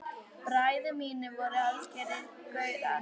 Bræður mínir voru algerir gaurar.